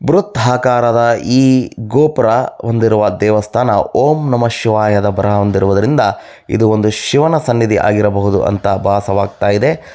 ಬೃಹದಕಾರದ ಈ ಗೋಪುರ ಹೊಂದಿರುವ ಈ ದೇವಸ್ಥಾನ ಓಂ ನಮಃ ಶಿವಾಯ ಬರಹ ಹೊಂದಿರುವುದರಿಂದ ಇದು ಒಂದು ಶಿವನ ಸನ್ನಿಧಿಯಾಗಿರಬಹುದು ಎಂದು ಭಾಸವ ಆಗ್ತಾ ಇದೆ.